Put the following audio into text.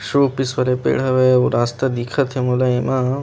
showpiece वाला पेड़ हवे एकगो रास्ता दिखत थे ऐ मा